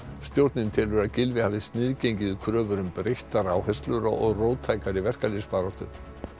stjórnin telur að Gylfi hafi sniðgengið kröfur um breyttar áherslur og róttækari verkalýðsbaráttu